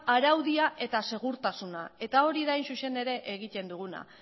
araudia eta segurtasuna eta hori da hain zuzen ere egiten duguna